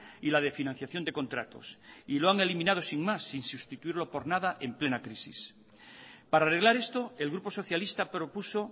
y la de financiación de contratos y lo han eliminado sin más sin sustituirlo por nada en plena crisis para arreglar esto el grupo socialista propuso